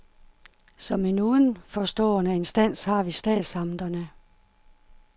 Som en udenforstående instans har vi statsamterne.